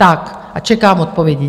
Tak a čekám odpovědi.